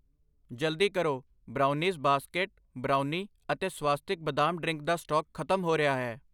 ਜਲਦੀ ਕਰੋ, brownies basket brownie ਅਤੇ ਸਵਾਸਤਿਕ ਬਦਾਮ ਡਰਿੰਕ ਦਾ ਸਟਾਕ ਖਤਮ ਹੋ ਰਿਹਾ ਹੈ I